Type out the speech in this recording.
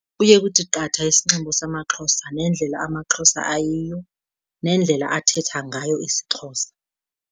Kuye kuthi qatha isinxibo samaXhosa nendlela amaXhosa ayiyo, nendlela athetha ngayo isiXhosa.